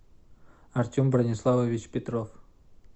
артем брониславович петров